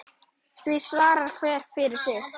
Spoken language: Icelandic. Því svarar hver fyrir sig.